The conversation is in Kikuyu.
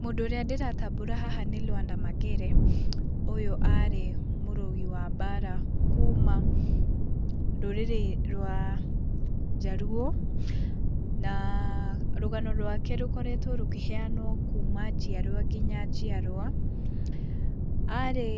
Mũndũ ũrĩa ndĩratambũra haha nĩ Lwanda Magere. Ũyũ arĩ mũrũi wa mbara kuma rũrĩrĩ rwa Njaruo, na rũgano rwake rũkoretwo rũkĩheanwo kuma njiarwa kinya njiarwa. Arĩ,